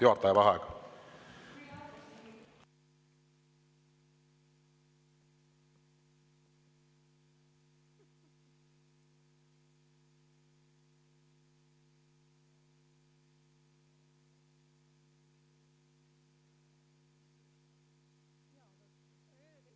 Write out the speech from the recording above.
Juhataja vaheaeg.